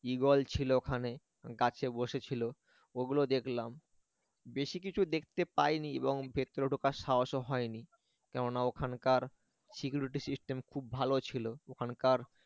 eagle ছিল ওখানে গাছে বসেছিল ওগুলো দেখলাম বেশি কিছু দেখতে পাইনি এবং ভেতরে ঢোকার সাহসও হয়নি কেননা ওখানকার security system খুব ভালো ছিল ওখানকার